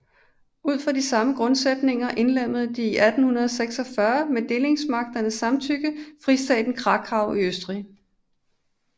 Ud fra de samme grundsætninger indlemmede det 1846 med delingsmagternes samtykke Fristaten Krakau i Østrig